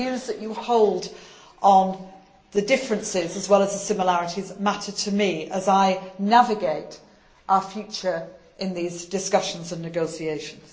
The views that you hold on the differences, as well as the similarities, matter to me as I navigate our future in these discussions and negotiations.